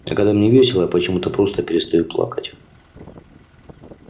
а когда мне весело я почему то просто перестаю плакать